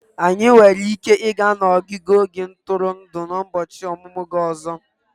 Anyị nwere ike ịga n'ogige ntụrụndụ n'ụbọchị ọmụmụ gị ọzọ.